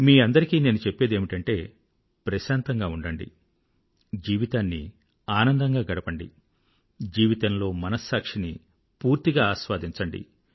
మీ అందరికీ నేను చెప్పేదేమిటంటే ప్రశాంతంగా ఉండండి జీవితాన్ని ఆనందంగా గడపండి జీవితంలో మనస్సాక్షిని పూర్తిగా ఆస్వాదించండి